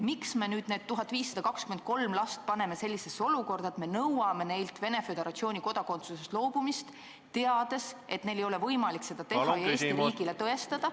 Miks me nüüd need 1523 last paneme sellisesse olukorda, et me nõuame neilt Venemaa Föderatsiooni kodakondsusest loobumist, teades, et neil ei ole võimalik seda teha ja Eesti riigile tõestada, et ...